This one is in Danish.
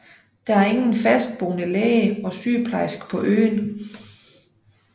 Der er ingen fastboende læge og sygeplejerske på øen